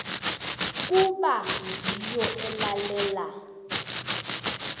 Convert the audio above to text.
kuba ngiyo elalela